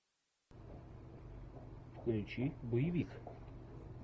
включи боевик